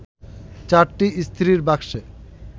চারটি ইস্ত্রির বাক্সে